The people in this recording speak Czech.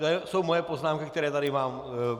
To jsou moje poznámky, které tady mám.